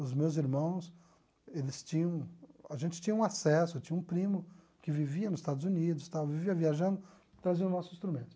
Os meus irmãos, eles tinham, a gente tinha um acesso, eu tinha um primo que vivia nos Estados Unidos, vivia viajando, trazia o nosso instrumento.